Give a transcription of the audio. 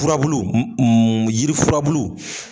Furabulu yiri furabulu.